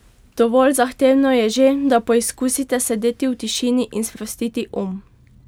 Dovolj zahtevno je že, da poizkusite sedeti v tišini in sprostiti um.